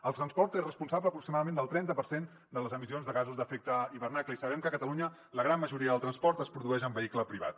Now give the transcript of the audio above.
el transport és responsable aproximadament del trenta per cent de les emissions de gasos d’efecte hivernacle i sabem que a catalunya la gran majoria del transport es produeix en vehicle privat